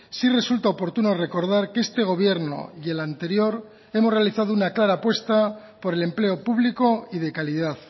sí resulta oportuno recordar que este gobierno y el anterior hemos realizado una clara apuesta por el empleo público y de calidad